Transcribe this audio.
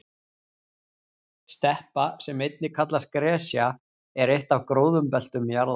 steppa sem einnig kallast gresja er eitt af gróðurbeltum jarðar